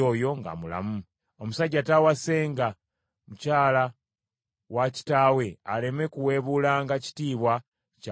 Omusajja taawasenga mukyala wa kitaawe aleme kuweebuulanga kitiibwa kya buliri bwa kitaawe.